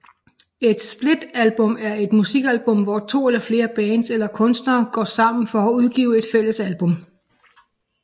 Et splitalbum er et musikalbum hvor to eller flere bands eller kunstnere går sammen for at udgive et fælles album